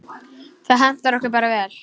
Það hentar okkur bara vel.